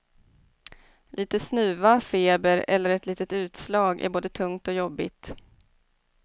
Lite snuva, feber eller ett litet utslag är både tungt och jobbigt.